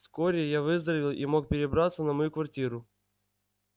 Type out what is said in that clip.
вскоре я выздоровел и мог перебраться на мою квартиру